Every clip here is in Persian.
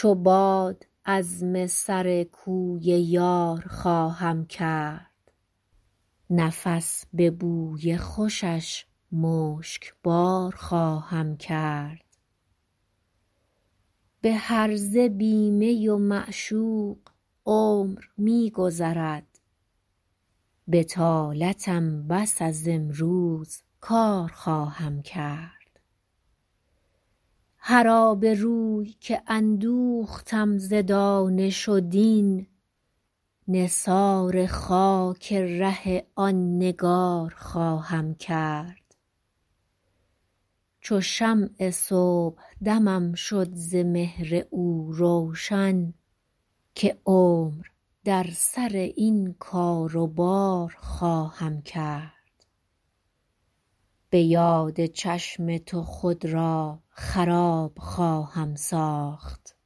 چو باد عزم سر کوی یار خواهم کرد نفس به بوی خوشش مشکبار خواهم کرد به هرزه بی می و معشوق عمر می گذرد بطالتم بس از امروز کار خواهم کرد هر آبروی که اندوختم ز دانش و دین نثار خاک ره آن نگار خواهم کرد چو شمع صبحدمم شد ز مهر او روشن که عمر در سر این کار و بار خواهم کرد به یاد چشم تو خود را خراب خواهم ساخت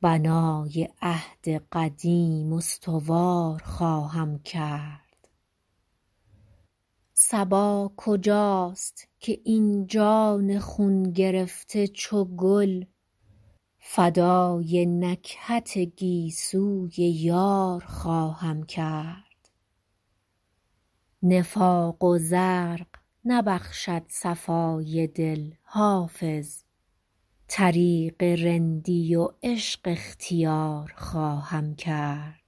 بنای عهد قدیم استوار خواهم کرد صبا کجاست که این جان خون گرفته چو گل فدای نکهت گیسوی یار خواهم کرد نفاق و زرق نبخشد صفای دل حافظ طریق رندی و عشق اختیار خواهم کرد